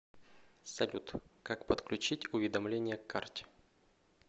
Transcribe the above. салют как подключить уведомления к карте